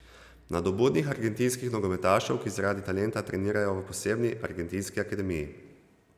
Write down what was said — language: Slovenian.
Nadobudnih argentinskih nogometašev, ki zaradi talenta trenirajo v posebni argentinski akademiji.